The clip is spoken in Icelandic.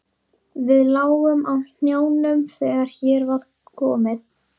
Við lágum á hnjánum þegar hér var komið.